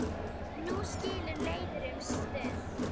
Nú skilur leiðir um stund.